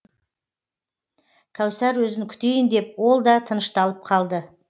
кәусар өзін күтейін деп ол да тынышталып қалды